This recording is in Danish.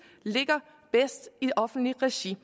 ligger bedst i offentligt regi